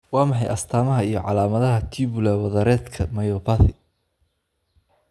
Waa maxay astamaha iyo calaamadaha Tubular wadareedka myopathy?